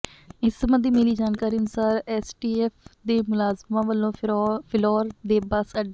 ਇਸ ਸਬੰਧੀ ਮਿਲੀ ਜਾਣਕਾਰੀ ਅਨੁਸਾਰ ਐੱਸਟੀਐੱਫ ਦੇ ਮੁਲਾਜ਼ਮਾਂ ਵੱਲੋਂ ਫਿਲੌਰ ਦੇ ਬੱਸ ਅੱਡੇ